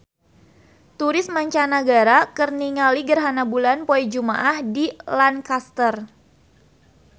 Turis mancanagara keur ningali gerhana bulan poe Jumaah di Lancaster